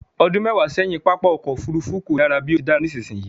Ọdún mẹwa sẹ́yìn, pápá ọkọ̀ Òfurufú kò dára bí ó ti dára tó nísinsìnyí